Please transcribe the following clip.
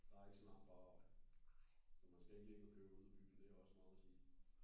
Der er ikke så langt på arbejde så man skal ikke lægge og køre ud af byen det har også meget at sige